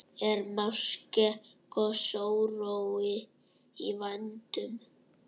Er máske gosórói í vændum?